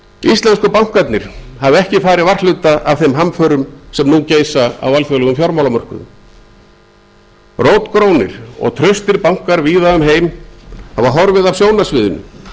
íslensku bankarnir hafa ekki farið varhluta af þeim hamförum sem nú geisa á alþjóðlegum fjármálamörkuðum rótgrónir og traustir bankar víða um lönd hafa horfið af sjónarsviðinu